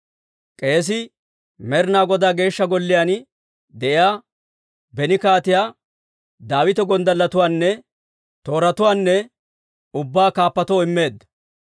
K'eesii Med'ina Godaa Geeshsha Golliyaan de'iyaa, beni Kaatiyaa Daawita gonddalletuwaanne tooratuwaanne ubbaa kaappatoo immeedda.